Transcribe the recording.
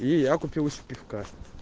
и я купил себе пивка